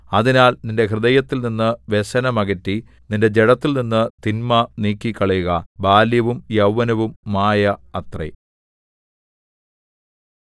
അതിനാൽ നിന്റെ ഹൃദയത്തിൽനിന്ന് വ്യസനം അകറ്റി നിന്റെ ജഡത്തിൽനിന്ന് തിന്മ നീക്കിക്കളയുക ബാല്യവും യൗവനവും മായ അത്രേ